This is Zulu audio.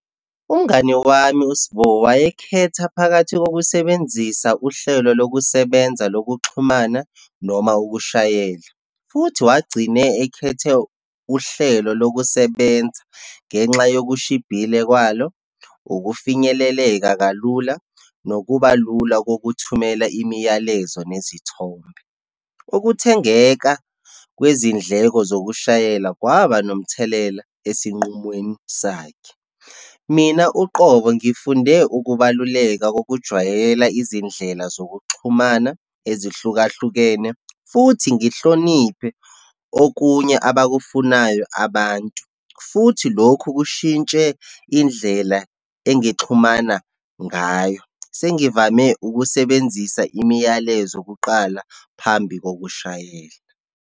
Umngani wami, uSbo wayekhetha phakathi kokusebenzisa uhlelo lokusebenza lokuxhumana, noma ukushayela. Futhi wagcina ekhethe uhlelo lokusebenza ngenxa yokushibhile kwalo, ukufinyeleleka kalula, nokuba lula kokuthumela imiyalezo nezithombe. Ukuthengeka kwezindleko zokushayela kwaba nomthelela esinqumweni sakhe. Mina, uqobo ngifunde ukubaluleka kokujwayela izindlela zokuxhumana ezihlukahlukene, futhi ngihloniphe okunye abakufunayo abantu. Futhi lokhu kushintshe indlela engixhumana ngayo. Sengivame ukusebenzisa imiyalezo kuqala phambi kokushayela.